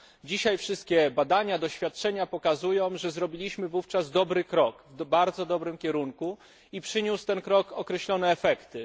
Dzisiaj wszystkie badania, doświadczenia pokazują, że zrobiliśmy wówczas dobry krok, w bardzo dobrym kierunku, i przyniósł ten krok określone efekty.